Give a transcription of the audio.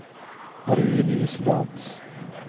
Marie-Louise Lantz